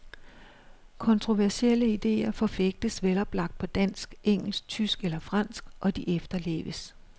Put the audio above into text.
Kontroversielle idéer forfægtes veloplagt på dansk, engelsk, tysk eller fransk, og de efterleves.